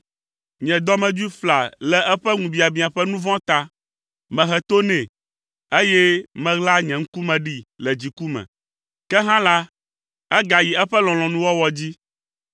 Nye dɔmedzoe fla le eƒe ŋubiabiã ƒe nu vɔ̃ ta. Mehe to nɛ, eye meɣla nye ŋkume ɖee le dziku me, ke hã la, egayi eƒe lɔlɔ̃nuwɔwɔ dzi.